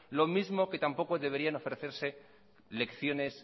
lo mismo que tampoco deberían ofrecerse lecciones